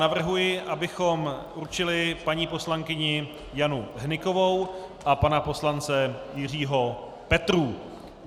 Navrhuji, abychom určili paní poslankyni Janu Hnykovou a pana poslance Jiřího Petrů.